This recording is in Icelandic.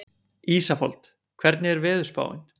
Ísafold, hvernig er veðurspáin?